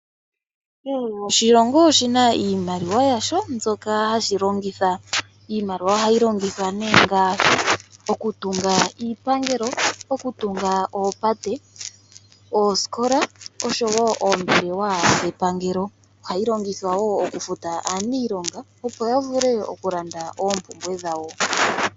Kehe oshilongo oshi na iimaliwa yasho mbyoka hashi longitha. Iimaliwa ohayi longithwa ngaashi okutunga iipangelo, okutunga oopate, oosikola noshowo oombelewa dhepangelo. Ohayi longithwa wo okufuta aaniilonga, opo ya vule okulanda oompumbwe dhawo.